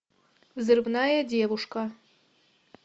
взрывная девушка